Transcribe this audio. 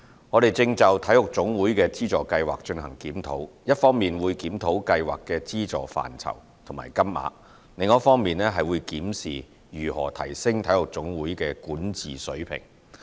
我們正就體育總會的資助計劃進行檢討，一方面會檢討計劃的資助範疇及金額，另一方面檢視如何提升體育總會的管治水平。